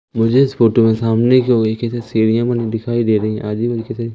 मुझे इस फोटो में सामने की ओर सीढ़ियां बनी हुई दिखाई दे रही है